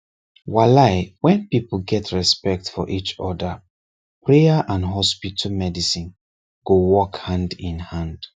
walai when people get respect for each other prayer and hospital medicine go work hand in hand